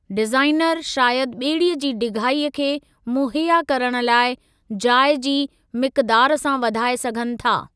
Designer शायदि ॿेड़ीअ जी डिघाई खे मुहैया करण लाइ, जाइ जी मिक़दार सां वधाए सघनि था।